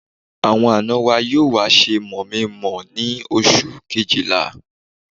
Àwọn àna wa yóò wá ṣe mọ̀-mí-mọ̀-ọ́ ní oṣù Kejìlá